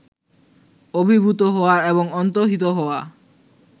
আবির্ভূত হওয়া এবং অন্তর্হিত হওয়া